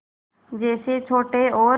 जैसे छोटे और